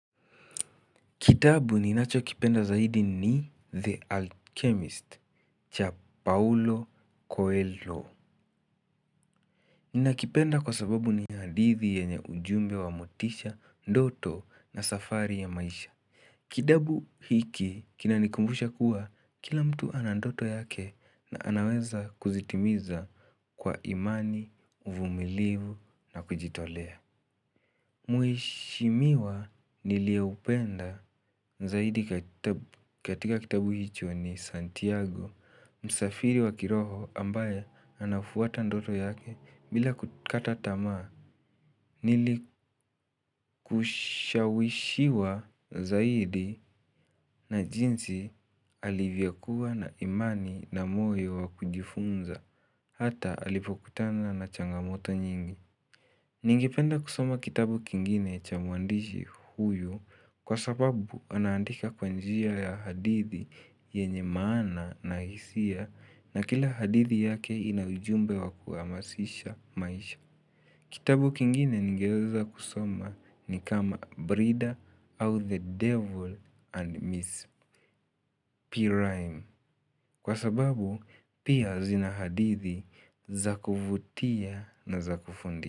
Kitabu ninacho kipenda zaidi ni The Alchemist cha Paulo Coelho. Nina kipenda kwa sababu ni hadithi yenye ujumbe wa motisha, ndoto na safari ya maisha. Kitabu hiki kinanikumbusha kuwa kila mtu ana ndoto yake na anaweza kuzitimiza kwa imani uvumilivu na kujitolea. Mheshimiwa nilieupenda zaidi katika kitabu hicho ni Santiago Msafiri wa kiroho ambaye anafuata ndoto yake bila kukata tamaa kushawishiwa zaidi na jinsi alivyokua na imani na moyo wa kujifunza. Hata alipokutana na changamoto nyingi. Ningependa kusoma kitabu kingine cha mwandishi huyu kwa sababu anaandika kwa njia ya hadithi yenye maana na hisia na kila hadithi yake ina ujumbe wa kuhamasisha maisha. Kitabu kingine ningeweza kusoma ni kama Brida au The Devil and Miss Rhyme kwa sababu pia zina hadithi zakuvutia na zakufundi.